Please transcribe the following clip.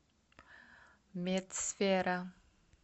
медсфера